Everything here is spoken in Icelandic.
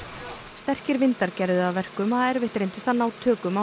sterkir vindar gerðu það að verkum að erfitt reyndist að ná tökum á